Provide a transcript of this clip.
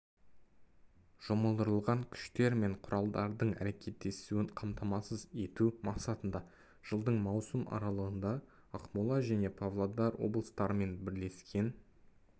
жұмылдырылған күштер мен құралдардың әрекеттесуін қамтамасыз ету мақсатында жылдың маусым аралығында ақмола және павлодар облыстарымен бірлескен